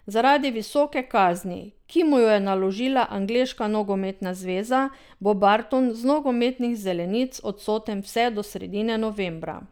Zaradi visoke kazni, ki mu jo je naložila Angleška nogometna zveza, bo Barton z nogometnih zelenic odsoten vse do sredine novembra.